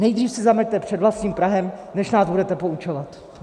Nejdřív si zameťte před vlastním prahem, než nás budete poučovat!